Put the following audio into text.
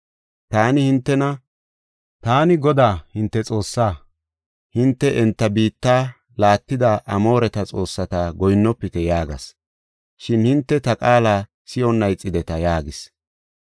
Taani hintena, ‘Taani Godaa hinte Xoossaa; hinte enta biitta laattida Amooreta xoossata goyinnofite’ yaagas. Shin hinte ta qaala si7onna ixideta” yaagis.